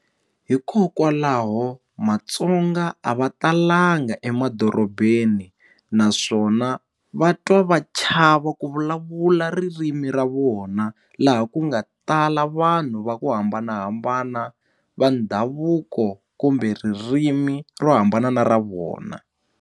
Hikokwalaho matsonga a va talanga emadorobeni naswona va twa va chava ku vulavula ririmi ra vona laha ku nga tala vanhu va ku hambanahambana va ndhavuko kumbe ririmi ro hambana na ra vona.